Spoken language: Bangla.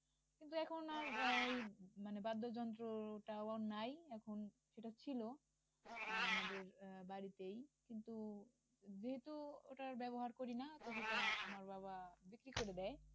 কিন্তু এখন আর আহ ওই মানে বাদ্যযন্ত্রটাও নাই এখন, এটা ছিলো আমাদের আহ বাড়ীতেই তো যেহেতু ওটা আর ব্যাবহার করি নাই তো সেটা আমার বাবা বিক্রি করে দেয়।